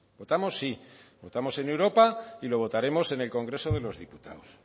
votamos sí votamos en europa y lo votaremos en el congreso de los diputados